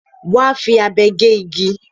Wà á fi abe gé igi.